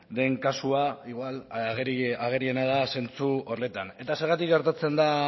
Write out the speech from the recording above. den kasua igual ageriena da zentzu horretan eta zergatik gertatzen da